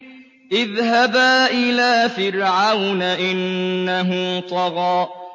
اذْهَبَا إِلَىٰ فِرْعَوْنَ إِنَّهُ طَغَىٰ